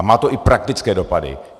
A má to i praktické dopady.